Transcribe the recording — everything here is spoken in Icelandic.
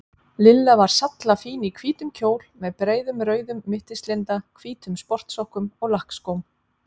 Lilla var sallafín í hvítum kjól með breiðum rauðum mittislinda, hvítum sportsokkum og lakkskóm.